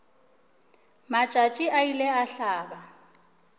matšatši a ile a hlaba